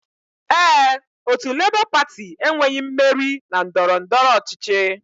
Ee, otu Labour Party enweghị mmeri na ndọrọndọrọ ọchịchị